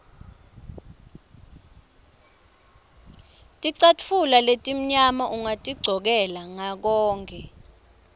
ticatfulo letimnyama ungatigcokela ngakokonkhe